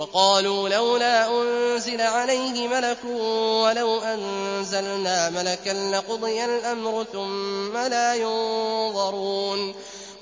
وَقَالُوا لَوْلَا أُنزِلَ عَلَيْهِ مَلَكٌ ۖ وَلَوْ أَنزَلْنَا مَلَكًا لَّقُضِيَ الْأَمْرُ ثُمَّ لَا يُنظَرُونَ